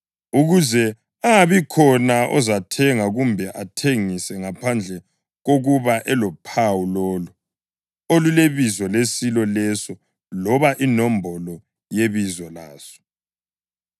ukuze angabikhona ozathenga kumbe athengise ngaphandle kokuba elophawu lolo olulibizo lesilo leso loba inombolo yebizo laso.